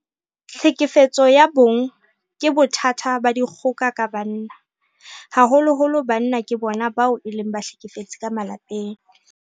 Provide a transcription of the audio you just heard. Tlhekefetso ya bong ke bothata ba dikgoka ka banna. Haholoholo banna ke bona bao e leng bahlekefetsi ka malapeng.